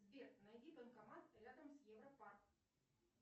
сбер найди банкомат рядом с европарк